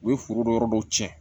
U ye foro dɔ yɔrɔ dɔw cɛn